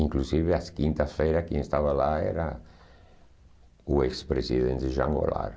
Inclusive, as quintas-feiras, quem estava lá era o ex-presidente Jean Goulart.